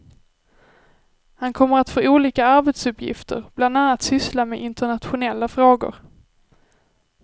Han kommer att få olika arbetsuppgifter, bland annat syssla med internationella frågor.